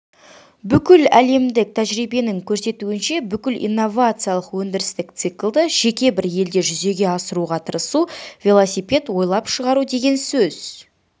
бүкіләлемдік тәжірибенің көрсетуінше бүкіл инновациялық өндірістік циклды жеке бір елде жүзеге асыруға тырысу велосипед ойлап шығару деген сөз